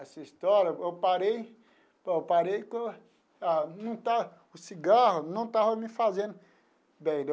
Essa história, eu parei... Eu parei que o ah o cigarro não estava me fazendo bem.